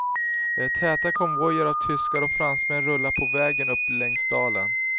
Täta konvojer av tyskar och fransmän rullar på vägen upp längs dalen.